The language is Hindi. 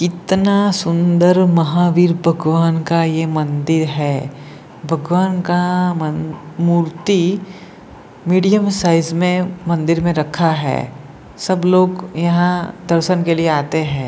कितना सुंदर महावीर भगवान का ये मंदिर है भगवान का मन मूर्ति मीडिया साइज में मंदिर में रखा है सब लोग यहां दर्शन के लिए आते हैं।